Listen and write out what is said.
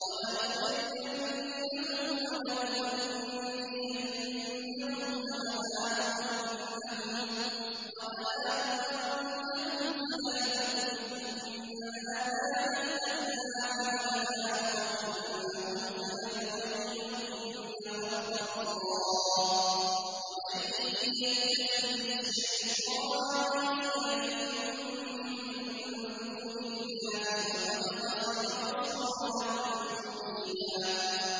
وَلَأُضِلَّنَّهُمْ وَلَأُمَنِّيَنَّهُمْ وَلَآمُرَنَّهُمْ فَلَيُبَتِّكُنَّ آذَانَ الْأَنْعَامِ وَلَآمُرَنَّهُمْ فَلَيُغَيِّرُنَّ خَلْقَ اللَّهِ ۚ وَمَن يَتَّخِذِ الشَّيْطَانَ وَلِيًّا مِّن دُونِ اللَّهِ فَقَدْ خَسِرَ خُسْرَانًا مُّبِينًا